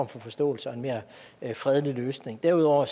for forståelse og en mere fredelig løsning derudover